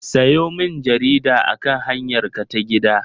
Sayo min jarida akan hanyarka ta gida!